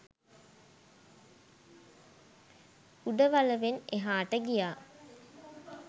උඩවලවෙන් එහාට ගියා